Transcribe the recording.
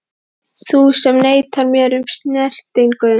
Þú sem neitar mér um snertingu.